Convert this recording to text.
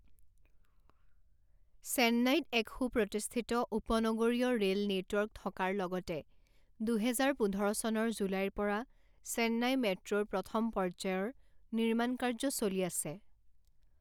চেন্নাইত এক সুপ্ৰতিষ্ঠিত উপনগৰীয় ৰে'ল নেটৱৰ্ক থকাৰ লগতে দুহেজাৰ পোন্ধৰ চনৰ জুলাইৰ পৰা চেন্নাই মেট্ৰ'ৰ প্ৰথম পৰ্যায়ৰ নিৰ্মাণকাৰ্য চলি আছে।